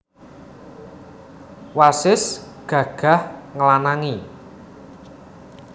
Wasis gagah nglanangi